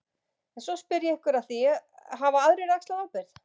En svo spyr ég ykkur að því, hafa aðrir axlað ábyrgð?